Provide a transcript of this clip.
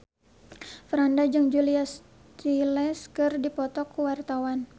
Franda jeung Julia Stiles keur dipoto ku wartawan